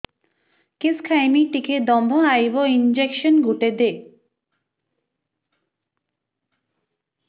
କିସ ଖାଇମି ଟିକେ ଦମ୍ଭ ଆଇବ ଇଞ୍ଜେକସନ ଗୁଟେ ଦେ